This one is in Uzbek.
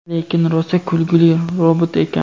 Lekin rosa kulguli robot ekan.